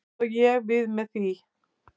Hvað á ég við með því?